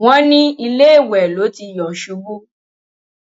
wọn ní iléèwé ló ti yọ ṣubú